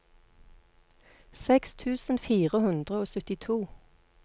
seks tusen fire hundre og syttito